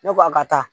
Ne ko a ka taa